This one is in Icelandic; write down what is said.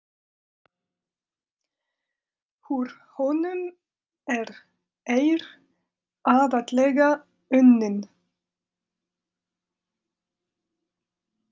Úr honum er eir aðallega unninn.